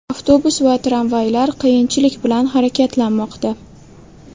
Avtobus va tramvaylar qiyinchilik bilan harakatlanmoqda.